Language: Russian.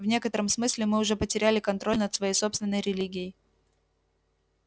в некотором смысле мы уже потеряли контроль над своей собственной религией